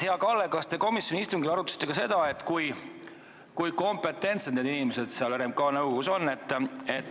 Hea Kalle, kas te komisjoni istungil arutasite ka seda, kui kompetentsed need inimesed seal RMK nõukogus on?